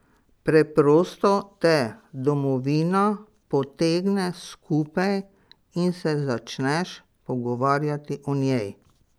Preprosto te domovina potegne skupaj in se začneš pogovarjati o njej.